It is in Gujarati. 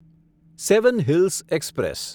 seven hills express